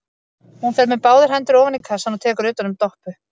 Hún fer með báðar hendur ofan í kassann og tekur utan um Doppu.